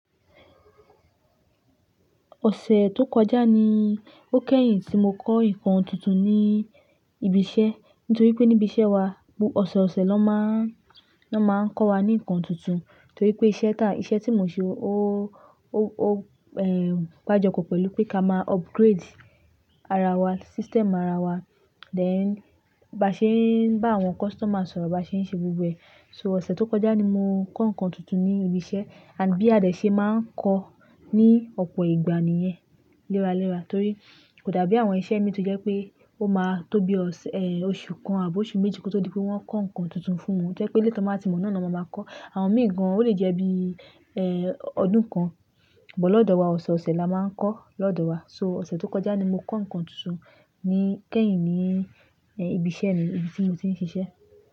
Ọ̀sẹ̀ tó kọjá ni ó kẹ́yìn tí mo kọ́ nǹkan tuntun ní ibi iṣẹ́. Nítorí pé ní ibi iṣẹ́ wa, bú òsọ̀ọ̀sẹ̀ ló máa ń, ló máa ń kọ́ wa ní nǹkan tuntun. Torí pé iṣẹ́ tá, iṣẹ́ tí mo ṣe ó, ó, ó, ẹ́, gbájopo pẹ̀lú pé ká máa upgrade ara wa, system ara wa. Then ba ṣe ń bá àwọn customer sọ̀rọ̀, ba ṣe ń ṣe gbogbo ẹ̀. So ọ̀sẹ̀ tó kọjá ni mo kọ́ nǹkan tuntun ní ibi iṣẹ́. And bí a dẹ̀ ṣe máa ń kọ́ ní ọ̀pọ̀ ìgbà nìyẹn léra léra. Torí kò dàbí àwọn iṣẹ́ mí tí ó jẹ́ pé ó máa tó bí oṣù kan àbí oṣù méjì kí ó tó di pé wọ́n kọ́ nǹkan tuntun fún wọn. Ohun tó jẹ́ pé eléyìí tí wọ́n baa ti mọ̀ náà ni wọ́n máa ma kọ́. Àwọn èmi gan an, ó lè jẹ́ bí ọdún kan but lọ́dọ̀ wa, ọ̀sọ̀ọ̀sẹ̀ la máa ń kọ́ lọ́dọ̀ wa. So ọ̀sẹ̀ tó kọjá ni mo kọ́ nǹkan tuntun kẹ́yìn ní ibi iṣẹ́ mi, ibi tí mo ti ń ṣiṣẹ́.